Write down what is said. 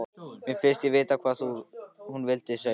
Mér finnst ég vita hvað hún vildi segja.